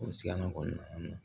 O sigilan kɔni